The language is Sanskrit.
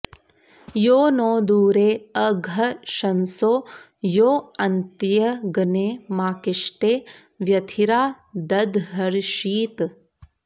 यो नो दूरे अघशंसो यो अन्त्यग्ने माकिष्टे व्यथिरा दधर्षीत्